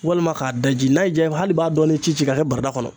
Walima k'a daji n'a y'i jaa hali i b'a dɔɔni ci ci ka kɛ barada kɔnɔ.